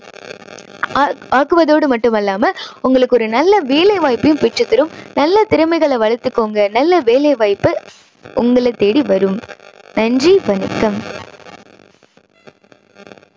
ஆ~ஆக்குவதோடு மட்டுமில்லாம உங்களுக்கு ஒரு நல்ல வேலை வாய்ப்பையும் பெற்று தரும். நல்லா திறமைகளை வளத்துக்கோங்க. நல்ல வேலை வாய்ப்பு உங்களை தேடி வரும். நன்றி, வணக்கம்.